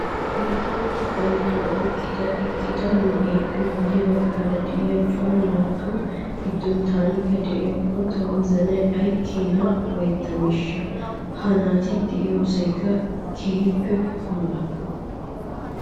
Maata mera banddiraa oyiqqada eqqida na'eeppe guyye baggaara de'iyaa cora naatuu giddon tankka de'iyaakko tawozanayi ayi keena ufayittaneeshsha. Ha naati de'iyoosayi keehippe puula.